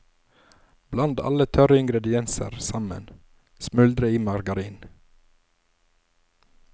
Bland alle tørre ingredienser sammen, smuldre i margarin.